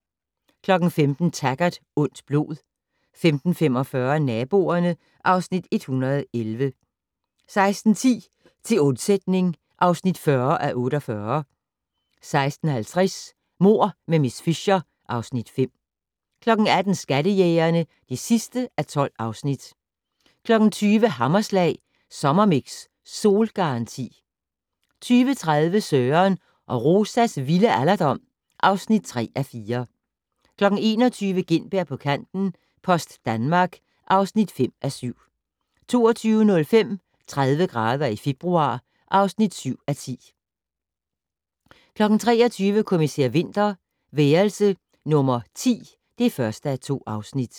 15:00: Taggart: Ondt blod 15:45: Naboerne (Afs. 111) 16:10: Til undsætning (40:48) 16:50: Mord med miss Fisher (Afs. 5) 18:00: Skattejægerne (12:12) 20:00: Hammerslag Sommermix - Solgaranti 20:30: Søren og Rosas vilde alderdom (3:4) 21:00: Gintberg på kanten - Post Danmark (5:7) 22:05: 30 grader i februar (7:10) 23:00: Kommissær Winter: Værelse nummer 10 (1:2)